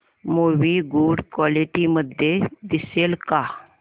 movie good quality मध्ये दिसेल का